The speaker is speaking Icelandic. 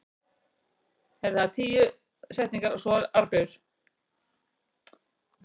Fyrirhuguð lendingarsvæði könnunarfara á Mars hafa hingað til verið tiltölulega víðfeðm.